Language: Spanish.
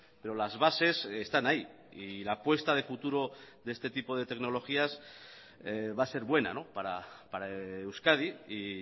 pero las bases están ahí y la apuesta de futuro de este tipo de tecnologías va a ser buena para euskadi y